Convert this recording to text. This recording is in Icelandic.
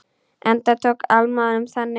Enda tók Alma honum þannig.